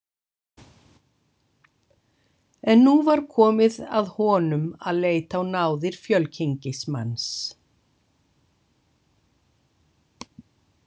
En nú var komið að honum að leita á náðir fjölkynngismanns.